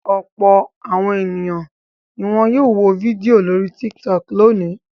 Ọ̀pọ̀ àwọn ènìyàn ni wọn yóò wo fídíò lórí Tiktok lónìí.